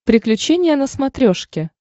приключения на смотрешке